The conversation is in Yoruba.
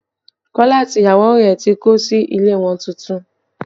Kọ́lá àti ìyàwó rẹ̀ tí kó sí ilé wọn tuntun